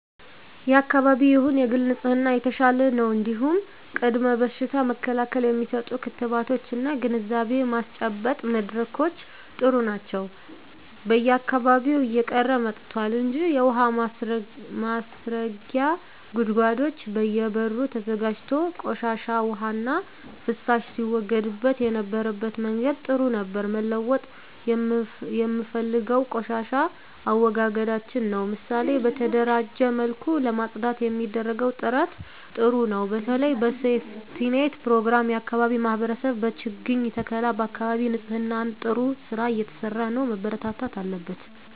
የአካባቢ ይሁን የግል ንጽህና የተሻለ ነው እንዲሁም ቅድመ በሽታ መከላከል የሚሰጡ ክትባቶች እና ግንዛቤ ማስጨበጫ መድረኮች ጥሩ ናቸው በየአካባቢው እየቀረ መጥቷል እንጂ የውሀ ማስረጊያ ጉድጓዶች በየ በሩ ተዘጋጅቶ ቆሻሻ ዉሃና ፍሳሽ ሲወገድበት የነበረበት መንገድ ጥሩ ነበር መለወጥ የምፈልገው የቆሻሻ አወጋገዳችንን ነው ምሳሌ በተደራጀ መልኩ ለማፅዳት የሚደረገው ጥረት ጥሩ ነው በተለይ በሴፍትኔት ፕሮግራም የአካባቢ ማህበረሰብ በችግኝ ተከላ በአካባቢ ንፅህና ጥሩ ስራ እየተሰራ ነው መበርታት አለበት